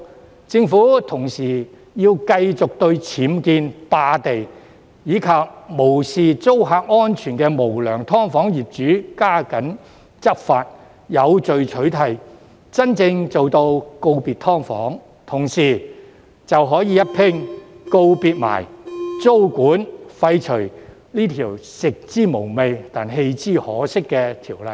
同時，政府亦要繼續對僭建、霸地，以及無視租客安全的無良"劏房"業主加緊執法，有序取締，真正做到告別"劏房"，屆時就可以一併告別租管，廢除這項"食之無味，棄之可惜"的條例。